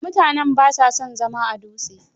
Mutanen ba sa son zama a Dutse.